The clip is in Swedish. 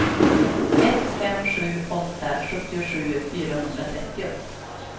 ett fem sju åtta sjuttiosju fyrahundratrettio